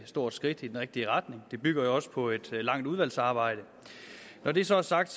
stort skridt i den rigtige retning det bygger jo også på et langt udvalgsarbejde når det så er sagt